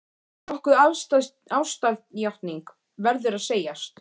Nokkuð afstæð ástarjátning, verður að segjast.